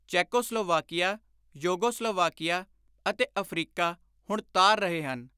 Czechoslovakia, Yugoslavia ਅਤੇ Africa ਹੁਣ ਤਾਰ ਰਹੇ ਹਨ।